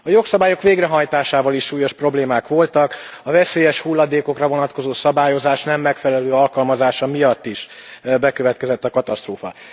A jogszabályok végrehajtásával is súlyos problémák voltak, a veszélyes hulladékokra vonatkozó szabályozás nem megfelelő alkalmazása miatt is bekövetkezett a katasztrófa.